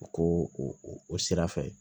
U ko o sira fɛ